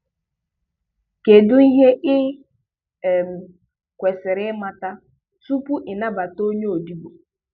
Kedụ ihe ị um kwesiri imata tupu ị nabata onye odibo.